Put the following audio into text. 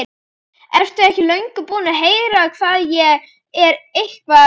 Ertu ekki löngu búinn að heyra hvað ég er eitthvað.